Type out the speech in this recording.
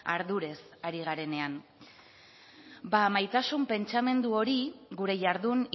ardurez ari garenean bada maitasun pentsamendu hori gure jardun